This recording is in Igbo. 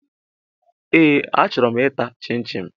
Ee achọrọ m ịta chin-chin